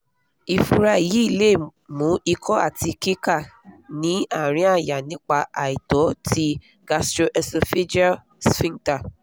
ìfúra yìí lè mú ìkó àti kíká ní àárín àyà nípa àìtọ̀ ti gastroesophageal sphincter